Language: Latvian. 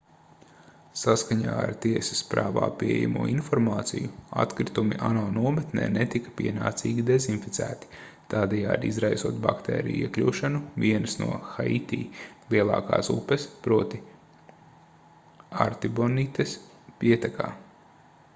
saskaņā ar tiesas prāvā pieejamo informāciju atkritumi ano nometnē netika pienācīgi dezinficēti tādējādi izraisot baktēriju iekļūšanu vienas no haiti lielākās upes proti artibonites pietekā